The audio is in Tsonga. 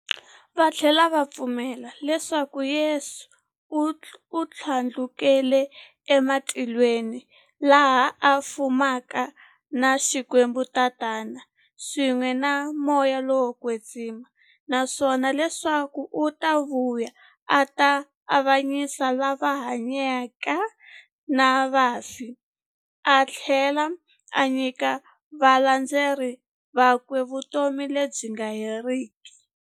Vathlela va pfumela leswaku Yesu u thlandlukele e matilweni, laha a fumaka na Xikwembu-Tatana, swin'we na Moya lowo kwetsima, naswona leswaku u ta vuya a ta avanyisa lava hanyaka na vafi athlela a nyika valandzeri vakwe vutomi lebyi nga heriki.